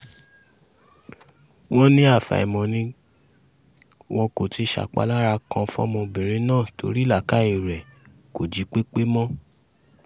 wọ́n ní àfàìmọ̀ ni wọn kò ti ṣapalára kan fọ́mọbìnrin náà torí làákàyè ẹ̀ kò jípẹ́pẹ́ mọ́